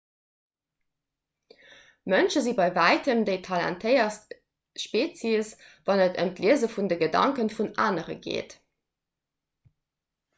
mënsche si bei wäitem déi talentéiertst spezies wann et ëm d'liese vun de gedanke vun anere geet